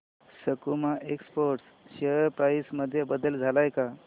सकुमा exports share price मध्ये बदल आलाय का